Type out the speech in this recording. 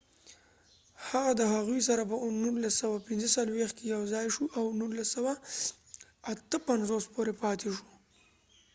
هغه د هغوي سره په 1945 کې یو ځای شو او د 1958 پورې پاتی شو